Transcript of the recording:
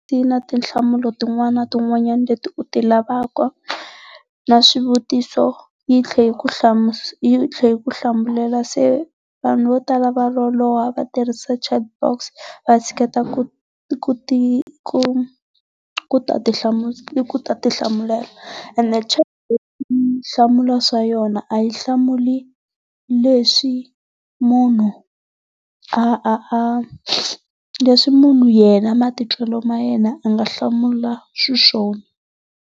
Ti na tinhlamulo tin'wana na tin'wana leti u ti lavaka na swivutiso yi tlhe yi ku yi tlhe yi ku hlamulela se vanhu vo tala va loloha va tirhisa chatbox vatshiketa ku ti ku ku ta ti ku ta ti hlamulela. Ene chatbot yi hlamula swa yona a yi hlamuli leswi munhu a a a leswi munhu yena matitwela ma yena a nga hlamula xiswona.